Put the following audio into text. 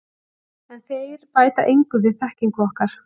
En þeir bæta engu við þekkingu okkar.